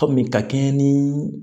Kɔmi ka kɛɲɛ ni